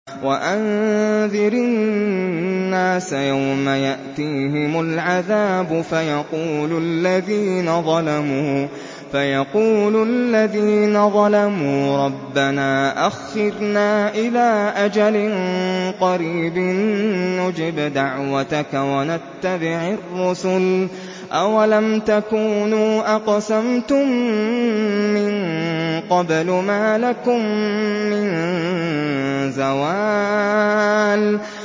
وَأَنذِرِ النَّاسَ يَوْمَ يَأْتِيهِمُ الْعَذَابُ فَيَقُولُ الَّذِينَ ظَلَمُوا رَبَّنَا أَخِّرْنَا إِلَىٰ أَجَلٍ قَرِيبٍ نُّجِبْ دَعْوَتَكَ وَنَتَّبِعِ الرُّسُلَ ۗ أَوَلَمْ تَكُونُوا أَقْسَمْتُم مِّن قَبْلُ مَا لَكُم مِّن زَوَالٍ